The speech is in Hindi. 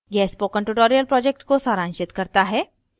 यह spoken tutorial project को सारांशित करता है